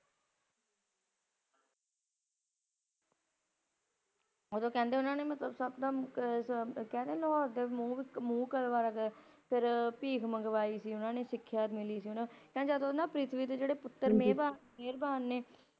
ਉਦੋਂ ਕਹਿੰਦੇ ਉਨ੍ਹਾਂ ਨੇ ਮਤਲਬ ਸੱਪ ਦਾ ਕਹਿੰਦੇ ਲਾਹੌਰ ਦਾ ਮੂੰਹ , ਫਿਰ ਭੀਖ ਮੰਗਵਾਈ ਸੀ ੳਹਨਾ ਨੇ, ਸਿੱਖਿਆ ਮਿਲੀ ਸੀ ਉਨ੍ਹਾਂ ਕਹਿੰਦੇ ਜਦ ਪ੍ਰਿਥਵੀ ਦੇ ਪੁਤਰ ਮੇਵਾ ਮਿਹਰਵਾਨ ਨੇ ੳਨਾ ਨੇ